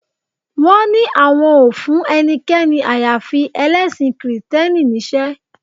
Wọ́n ní àwọn ò fún ẹnikẹ́ni àyàfi ẹlẹ́sìn kìrìtẹ́nì níṣẹ́